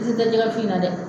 Piri ti jɛgɛ wusu in na dɛ